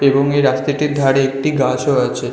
এবং এই রাস্তাটির ধারে একটি গাছ ও আছে।